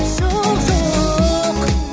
жоқ жоқ